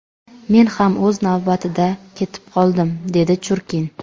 Men ham o‘z navbatida ketib qoldim”, dedi Churkin.